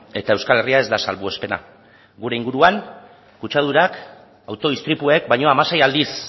eta euskal herria ez da salbuespena gure inguruan kutsadurak auto istripuek baino hamasei aldiz